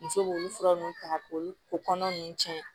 Muso b'olu fura nunnu ta k'olu kɔnɔ ninnu cɛn